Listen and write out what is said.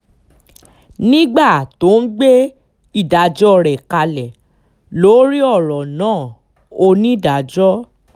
nígbà tó ń gbé ìdájọ́ rẹ̀ kalẹ̀ lórí ọ̀rọ̀ náà onídàájọ́